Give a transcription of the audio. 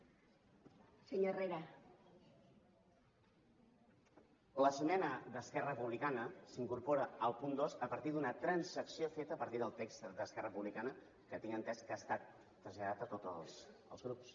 l’esmena d’esquerra republicana s’incorpora al punt dos a partir d’una transacció feta a partir del text d’esquerra republicana que tinc entès que ha estat traslladat a tots els grups